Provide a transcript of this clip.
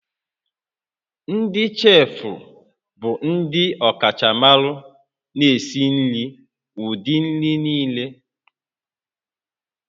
Ndị cheefụ bụ ndị ọkachamara na-esi nri ụdị nri niile